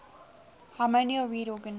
harmonium reed organ